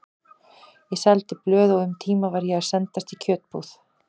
Ég seldi blöð og um tíma var ég að sendast í kjötbúð.